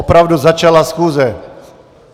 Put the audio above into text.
Opravdu začala schůze.